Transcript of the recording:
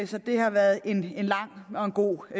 så det har været en lang og en god